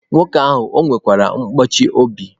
Nwoke ahụ ọ nwekwara nkụchi obi?